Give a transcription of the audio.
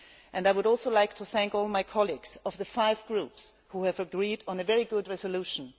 I would also like to thank all my colleagues in the five Groups who have agreed on a very good resolution.